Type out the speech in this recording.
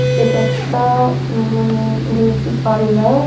এইটা একটা-আ অ্যা মানে বিউটি পার্লার ।